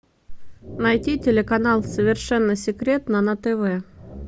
найти телеканал совершенно секретно на тв